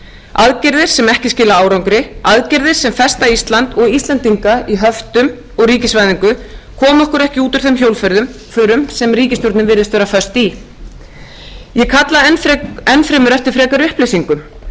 aðgerðir sem ekki skila árangri aðgerðir sem festa ísland og íslendinga í höftum og ríkisvæðingu koma okkur ekki út úr þeim hjólförum sem ríkisstjórnin virðist vera föst í ég kalla enn fremur eftir frekari upplýsingum